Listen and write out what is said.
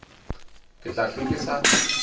ke tla hlwe ke sa